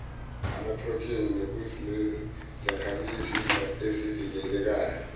amaphrotheni nokunezakhamzimba ezivikelayo